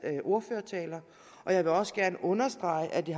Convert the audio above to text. ordførertaler og jeg vil også gerne understrege at det